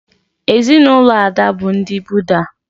Ezinụlọ Ada bụ ndị Buda